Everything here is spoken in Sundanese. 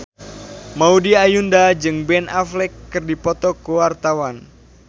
Maudy Ayunda jeung Ben Affleck keur dipoto ku wartawan